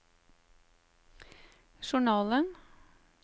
journalen